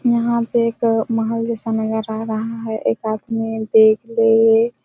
यहाँ पे एक महल जैसा नज़र आ रहा हैं एक आदमी बेग लिए